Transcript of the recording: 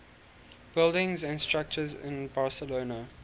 buildings and structures in barcelona